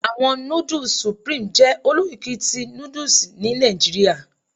Awọn nudus Supreme jẹ olokiki ti nudusni Nigeria